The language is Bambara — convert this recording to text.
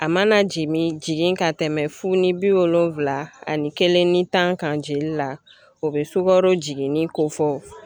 A mana jigin jigin ka tɛmɛ fu ni bi wolonfila ani kelen ni tan kan jigin na o be sukaro jiginni kofɔ